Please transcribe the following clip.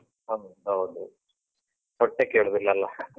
ಹೌದು, ಹೌದು ಹೊಟ್ಟೆ ಕೇಳುದಿಲ್ಲಲ್ಲ